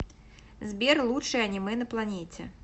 сбер лучшее аниме на планете